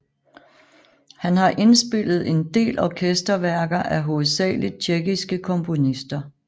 Han har indspillet en del orkester værker af hovedsageligt tjekkiske komponister